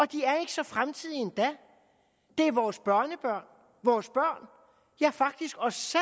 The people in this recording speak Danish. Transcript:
de er ikke så fremtidige endda det er vores børnebørn vores børn ja faktisk os